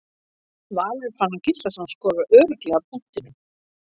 Valur Fannar Gíslason skorar örugglega af punktinum.